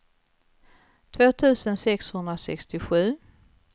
två tusen sexhundrasextiosju